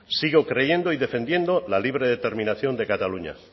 sigo creyendo y defendiendo la libre determinación de cataluña